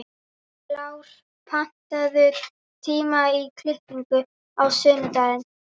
Kár, pantaðu tíma í klippingu á sunnudaginn.